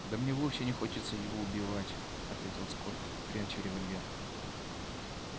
да мне вовсе не хочется его убивать ответил скотт пряча револьвер